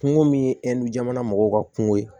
Kungo min ye jamana mɔgɔw ka kunko ye